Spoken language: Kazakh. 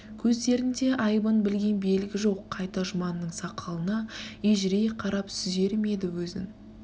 көздерінде айыбын білген белгі жоқ қайта жұманның сақалына ежірейе қарап сүзер ме еді өзін